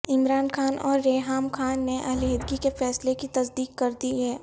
عمران خان اور ریحام خان نے علیحدگی کے فیصلے کی تصدیق کر دی ہے